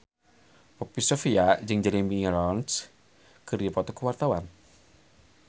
Poppy Sovia jeung Jeremy Irons keur dipoto ku wartawan